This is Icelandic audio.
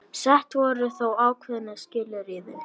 Sett voru þó ákveðin skilyrði